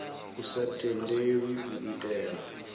a sa tendelwi u itela